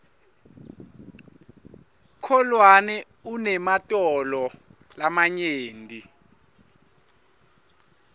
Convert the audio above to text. kholwane unematolo lamanyenti